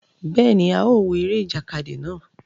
Béèni, a o wo eré ìjàkadì náà